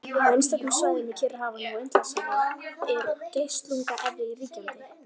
Á einstökum svæðum í Kyrrahafi og Indlandshafi er geislunga-eðja ríkjandi.